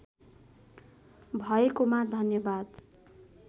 भएकोमा धन्यवाद